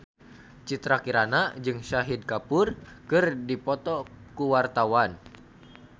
Citra Kirana jeung Shahid Kapoor keur dipoto ku wartawan